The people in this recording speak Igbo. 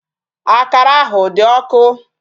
Akara ahụ dị ọkụ.